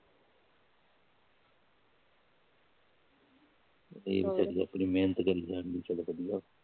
ਠੀਕ ਚਲੋ, ਆਪਣੀ ਮੇਹਨਤ ਕਰੀ ਜਾਣ ਵਧੀਆ।